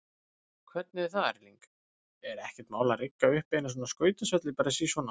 Hvernig er það Erling, er ekkert mál að rigga upp eina skautasvelli bara sí svona?